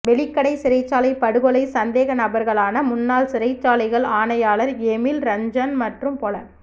வெலிக்கடை சிறைச்சாலை படுகொலை சந்தேகநபர்களான முன்னாள் சிறைச்சாலைகள் ஆணையாளர் எமில் ரஞ்சன் மற்றும் பொல